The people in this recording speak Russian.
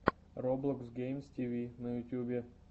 роблокс геймс тиви на ютьюбе